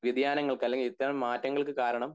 വ്യതിയാനങ്ങൾക്ക് അല്ലെങ്കിൽ ഇത്തരം മാറ്റങ്ങൾക് കാരണം